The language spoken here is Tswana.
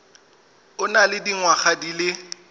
o nang le dingwaga di